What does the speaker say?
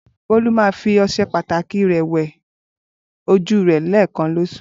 Bolu ma fi ọṣẹ pataki rẹ wẹ oju rẹ lẹẹkan loṣu.